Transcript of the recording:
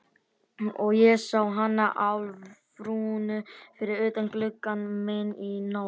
Og ég sá hana Álfrúnu fyrir utan gluggann minn í nótt.